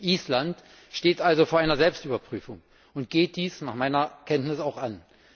Island steht also vor einer Selbstüberprüfung und geht diese nach meiner Kenntnis auch an.